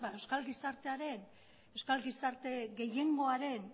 euskal gizarte gehiengoaren